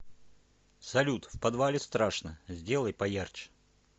салют в подвале страшно сделай поярче